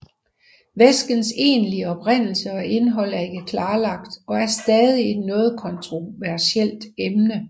Væskens egentlige oprindelse og indhold er ikke klarlagt og er stadig et noget kontroversielt emne